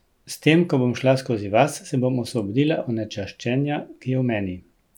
S tem ko bom šla skozi vas, se bom osvobodila onečaščenja, ki je v meni.